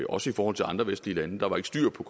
også i forhold til andre vestlige lande der var ikke styr på